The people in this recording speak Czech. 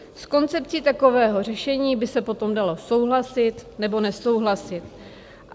S koncepcí takového řešení by se potom dalo souhlasit, nebo nesouhlasit.